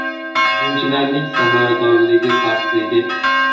Hujumchilarning samaradorligi pastligi?